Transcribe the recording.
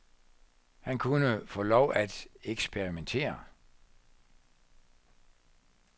Han kunne få lov at eksperimentere.